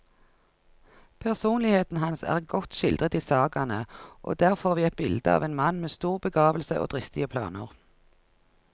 Personligheten hans er godt skildret i sagaene, og der får vi et bilde av en mann med stor begavelse og dristige planer.